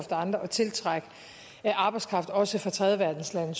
andre at tiltrække arbejdskraft også fra tredjeverdenslande